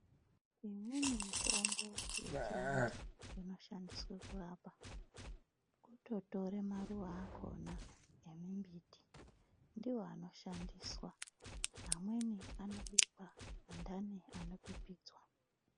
Imweni mitombo yechivantu inoshandiswe kurapa kutotore maruva akona emimbiti ndiwo anoshandiswa amweni anobikwa andani anopipidzwa.